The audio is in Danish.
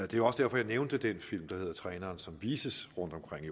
det var også derfor jeg nævnte den film der hedder træneren som vises rundtomkring i